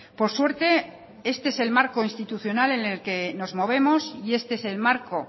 por suerte este es el marco institucional en el que nos movemos y este es el marco